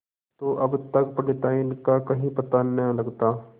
तो अब तक पंडिताइन का कहीं पता न लगता